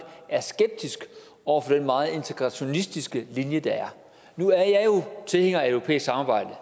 er skeptiske over for den meget integrationistiske linje der er nu er jeg tilhænger af et europæisk samarbejde